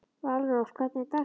Valrós, hvernig er dagskráin?